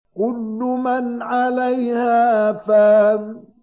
كُلُّ مَنْ عَلَيْهَا فَانٍ